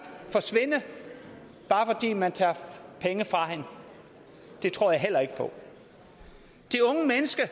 forsvinde bare fordi man tager penge fra hende det tror jeg heller ikke på de unge mennesker